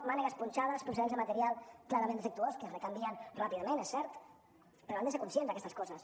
mànegues punxades procedents de material clarament defectuós que es recanvien ràpidament és cert però han de ser conscients d’aquestes coses